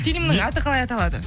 фильмнің аты қалай аталады